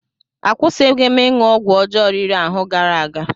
Akwụsịghị m ịṅụ ọgwụ ọjọọ riri ahụ gara aga.